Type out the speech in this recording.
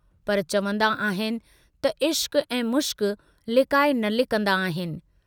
पर चवंदा आहिनि त इश्कु ऐं मुश्क लिकाए न लिकंदा आहिनि।